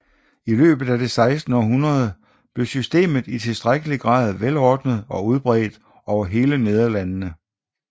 I løbet af det sekstende århundrede blev systemet i tilstrækkelig grad velordnet og udbredt over hele Nederlandene